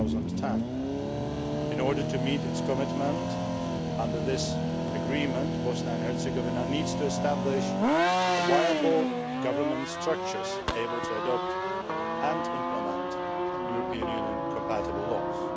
of 2010. In order to meet its commitment under this agreement, Bosnia and Herzegovina needs to establish viable government structures able to adopt and implement European Union compatible laws.